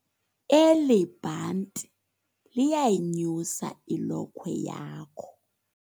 Eli bhanti liyayinyusa ilokhwe yakho.